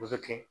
O bɛ kɛ